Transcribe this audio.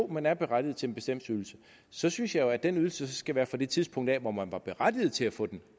man er berettiget til en bestemt ydelse så synes jeg jo at den ydelse skal være fra det tidspunkt hvor man var berettiget til at få den